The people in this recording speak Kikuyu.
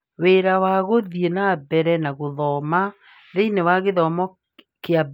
Wĩra wa Gũthiĩ na Mbere na Gũthoma Thĩinĩ wa Gĩthomo kĩa Mbere, Kũrora na Gũthuthuria, Indo cia Gũthomithia